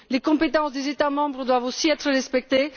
Les compétences des États membres doivent aussi être respectées.